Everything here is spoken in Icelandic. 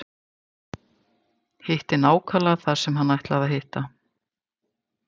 Hitti nákvæmlega þar sem hann ætlaði að hitta.